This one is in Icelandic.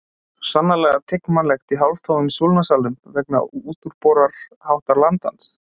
Svo sannarlega tiginmannlegt í hálftómum Súlnasalnum vegna útúrboruháttar landans.